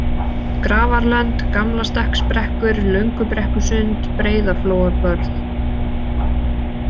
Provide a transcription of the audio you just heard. Grafarlönd, Gamlastekksbrekkur, Löngubrekkusund, Breiðaflóabörð